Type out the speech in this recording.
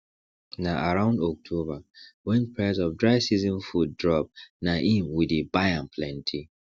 na around october wen price of dry season food drop na im we dey buy am plenty